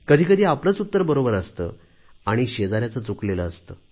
कधी कधी आपलेच उत्तर बरोबर असते आणि शेजाऱ्यांचे चुकलेले असते